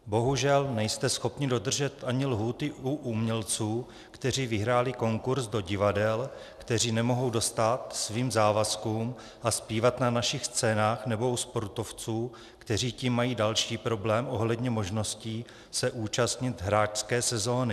Bohužel nejste schopni dodržet ani lhůty u umělců, kteří vyhráli konkurz do divadel, kteří nemohou dostát svým závazkům a zpívat na našich scénách, nebo u sportovců, kteří tím mají další problém ohledně možností se účastnit hráčské sezóny.